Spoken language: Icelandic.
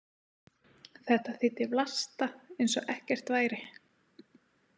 Þetta þýddi Vlasta eins og ekkert væri.